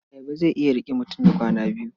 Ayaba zai iya riƙe mutum na kwana biyu.